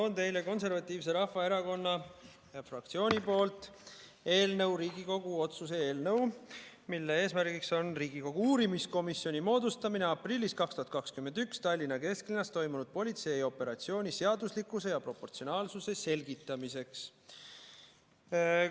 Toon teile Eesti Konservatiivse Rahvaerakonna fraktsioonilt Riigikogu otsuse eelnõu, mille eesmärk on Riigikogu uurimiskomisjoni moodustamine aprillis 2021 Tallinna kesklinnas toimunud politseioperatsiooni seaduslikkuse ja proportsionaalsuse selgitamiseks.